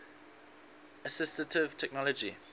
assistive technology